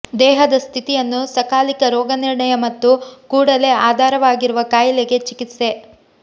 ದೇಹದ ಸ್ಥಿತಿಯನ್ನು ಸಕಾಲಿಕ ರೋಗನಿರ್ಣಯ ಮತ್ತು ಕೂಡಲೇ ಆಧಾರವಾಗಿರುವ ಕಾಯಿಲೆಗೆ ಚಿಕಿತ್ಸೆ